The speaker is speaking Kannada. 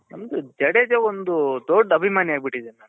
ನಮ್ದು ಜಡೇಜ ಒಂದು ದೊಡ್ಡ ಅಭಿಮಾನಿ ಅಗ್ಬಿಟ್ಟಿದೀನಿ ನಾನು